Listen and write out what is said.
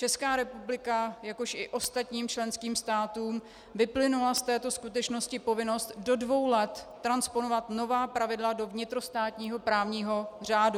České republice, jakož i ostatním členským státům vyplynula z této skutečnosti povinnost do dvou let transponovat nová pravidla do vnitrostátního právního řádu.